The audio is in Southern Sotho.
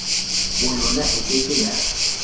boyona e ke ke ya